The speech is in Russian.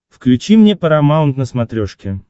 включи мне парамаунт на смотрешке